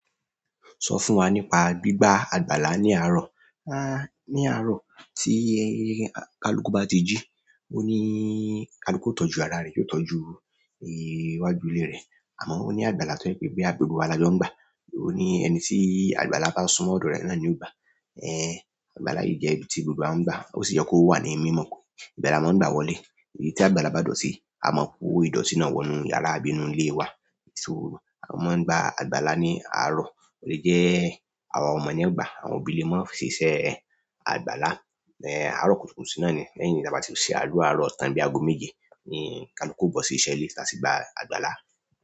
Sọ fún wa nípa gbígba àgbàlá ní àárọ̀. Ní àárọ̀ tí kaluku bá ti jí, ó ní kaluku ó tọ́jú ara rẹ, yóò tọ́jú ìwájú ilé rẹ̀. Àmọ́ ó ní àgbàlá tó je pé boya gbogbo wa la jọ ń gbà. Òó ní ẹni tí àgbàlá bá sunmọ́ ọ̀dọ̀ rẹ̀ náà ni ó gbà. Àgbàlá yìí jẹ́ ibi tí gbogbo wa ń gbà. Ó sì yẹ kó wà ní mímọ̀ kù. Ibe lá máa ń gba wọlé, ibi tí àgbàlá bá dúró sí, a mọ̀ ko ìdọ̀tì náà wọ inú yàrá, bíi inú ilé wa. So a máa ń gbà àgbàlá ní àárọ̀. Ó lè jẹ́ àwọn ọmọ ní o gbà, àwọn òbí lè máa ń ṣe siṣẹ́ àgbàlá. Àárọ̀ kùtùkùtù sì náà ni, lẹ́yìn tí a bá ti ṣe adua àárọ̀ tán bí i ago méje ni kaluku o bó sí iṣẹ́ ilé, ta sí gba àgbàlá.